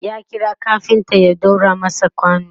ya kira kafinta ya ɗaura masa kwano